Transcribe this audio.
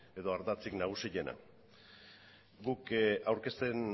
edo ardatzik nagusiena guk aurkezten